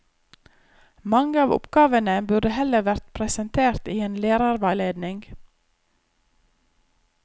Mange av oppgavene burde heller vært presentert i en lærerveiledning.